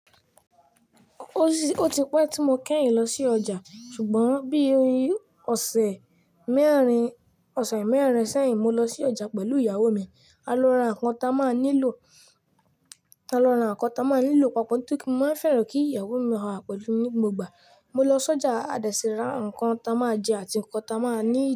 Ó ti pẹ́ tí mo kẹ́yìn lọ sí ọjà, ṣùgbọ́n bí ọ̀sẹ̀ mẹ́rin, ọ̀sẹ̀ mẹ́rin sẹ́yìn mo lọ sí ọjà pẹ̀lú ìyàwó mi. A lọ ra ǹkan tí a máa nílò, a lọ ra ǹkan tí a máa nílò papọ̀ torí mo má ń fẹ́ràn kí ìyàwó mi máa wà pẹ̀lú mi ní gbogbo ìgbà. Mo lọ sí ọjà, a dẹ̀ sì ra ǹkan tí a máa jẹ àti ǹkan tí a máa need.